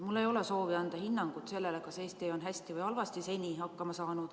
Mul ei ole soovi anda hinnangut sellele, kas Eesti on hästi või halvasti seni hakkama saanud.